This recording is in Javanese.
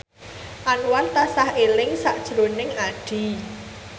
Anwar tansah eling sakjroning Addie